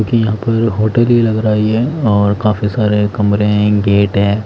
क्योंकि यहाँ पर होटल ही लग रहा है ये और काफी सारे कमरे हैं गेट हैं।